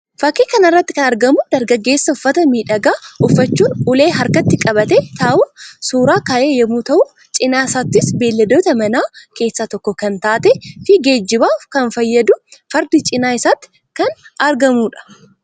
Fakkii kana irratti kan argamu dargaggeessa uffata miidhagaa uffachuun ulee harkatti qabatee taa'uun suuraa ka'e yammuu ta'u; cina isaattis beeyladoota manaa keessaa tokko kan taate fi geejjibaaf kan fayyaddu Fardi cina isaatti kan argamtuu dha.